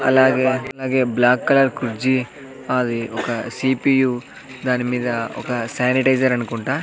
అలాగే అలాగే black colour కుర్జీ అది ఒక సి_పి_యు దానిమీద ఒక శానిటైజర్ అనుకుంటా.